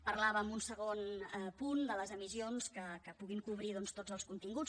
parlava en un segon punt de les emissions que puguin cobrir doncs tots els continguts